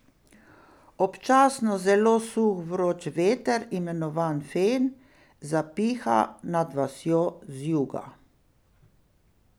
Občasno zelo suh vroč veter, imenovan fen, zapiha nad vasjo z juga.